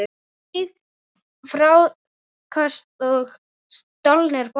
Stig, fráköst og stolnir boltar